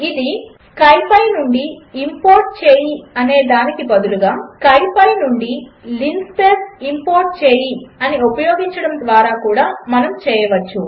ఇది స్కిపీ నుండి ఇంపోర్ట్ చేయి అనేదానికి బదులుగా స్కిపీ నుండి లిన్స్పేస్ ఇంపోర్ట్ చేయి అని ఉపయోగించడము ద్వారా కూడా చేయవచ్చు